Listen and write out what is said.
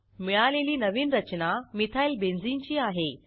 मिळालेली नवीन रचना मिथाइल बेन्झीन ची आहे